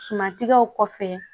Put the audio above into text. Sumantigɛw kɔfɛ